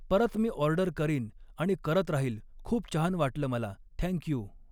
परत मी ऑर्डर करीन आणि करत राहिल खूप छान वाटलं मला थँक्यू